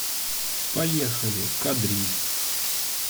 поехали кадриль